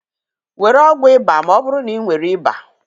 Were ọgwụ ịba ma ọ bụrụ na ị nwere ịba.